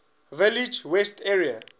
village west area